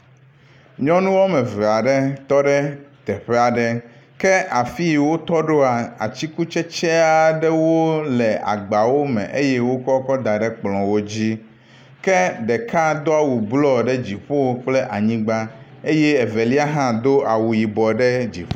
Nyɔnu wɔme eve aɖe tɔ ɖe teƒe aɖe ke afi yi wotɔ ɖoa atikutsetse aɖewo le agbawo me eye wokɔ kɔ da ɖe ekplɔwo dzi ke ɖeka do awu blɔ ɖe dziƒo kple anyigba eye evelia hã do awu yibɔ ɖe dziƒo.